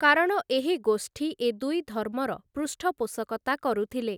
କାରଣ ଏହି ଗୋଷ୍ଠୀ ଏ ଦୁଇଧର୍ମର ପୃଷ୍ଠପୋଷକତା କରୁଥିଲେ ।